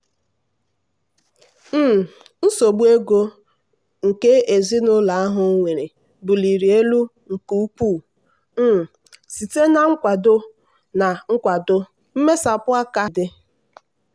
um nsogbu nke ego ezinụlọ ahụ nwere buliri elu nke ukwuu um site na nkwado na nkwado mmesapụ aka batara na mberede.